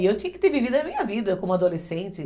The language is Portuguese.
E eu tinha que ter vivido a minha vida como adolescente.